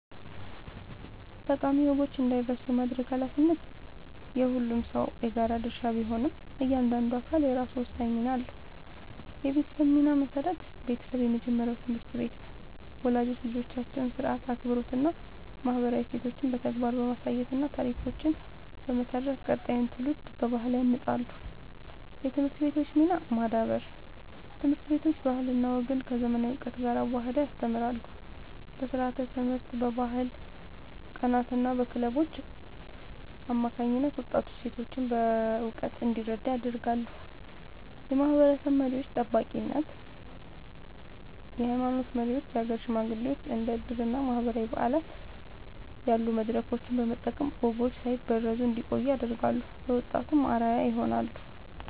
ጠቃሚ ወጎች እንዳይረሱ የማድረግ ኃላፊነት የሁሉም ሰው የጋራ ድርሻ ቢሆንም፣ እያንዳንዱ አካል የራሱ ወሳኝ ሚና አለው፦ የቤተሰብ ሚና (መሠረት)፦ ቤተሰብ የመጀመሪያው ትምህርት ቤት ነው። ወላጆች ልጆቻቸውን ሥርዓት፣ አክብሮትና ማህበራዊ እሴቶችን በተግባር በማሳየትና ታሪኮችን በመተረክ ቀጣዩን ትውልድ በባህል ያንጻሉ። የትምህርት ቤቶች ሚና (ማዳበር)፦ ትምህርት ቤቶች ባህልና ወግን ከዘመናዊ እውቀት ጋር አዋህደው ያስተምራሉ። በስርዓተ-ትምህርት፣ በባህል ቀናትና በክለቦች አማካኝነት ወጣቱ እሴቶቹን በእውቀት እንዲረዳ ያደርጋሉ። የማህበረሰብ መሪዎች (ጠባቂነት)፦ የሃይማኖት መሪዎችና የሀገር ሽማግሌዎች እንደ ዕድርና ማህበራዊ በዓላት ያሉ መድረኮችን በመጠቀም ወጎች ሳይበረዙ እንዲቆዩ ያደርጋሉ፤ ለወጣቱም አርአያ ይሆናሉ።